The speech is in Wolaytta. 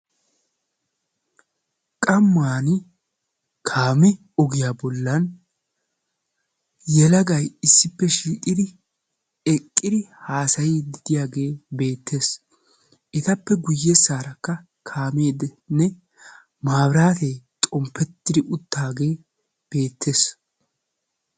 qamani kaame ogiya bolani yelagay issipe shiiqidi haasayiyagetti beettosona ettape yabagara korintiyaa xomppe beettesi.